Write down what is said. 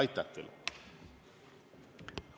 Aitäh teile!